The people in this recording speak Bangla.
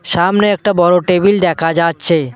সামনে একটা বড় টেবিল দেখা যাচ্ছে।